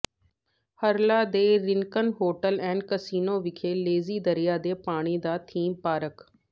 Harrah ਦੇ Rincon hotel and casino ਵਿਖੇ lazy ਦਰਿਆ ਦੇ ਪਾਣੀ ਦਾ ਥੀਮ ਪਾਰਕ